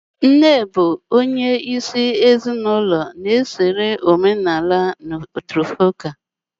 Nne bụ onye isi ezinụlọ na omenala matrifocal